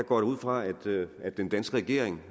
går da ud fra at at den danske regering